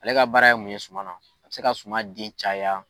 Ale ka baara ye mun ye sumana, a se ka suman den caya.